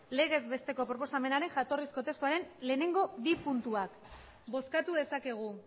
legez besteko proposamenaren jatorrizko testuaren lehenengo bi puntuak bozkatu dezakegu